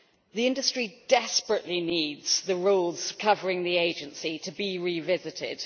The industry desperately needs the rules covering the agency to be revisited.